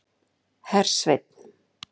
Hersveinn